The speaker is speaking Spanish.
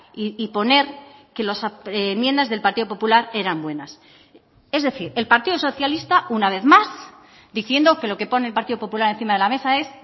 y poner que las enmiendas del partido popular eran buenas es decir el partido socialista una vez más diciendo que lo que pone el partido popular encima de la mesa es